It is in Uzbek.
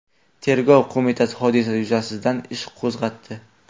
Tergov qo‘mitasi hodisa yuzasidan ish qo‘zg‘atdi.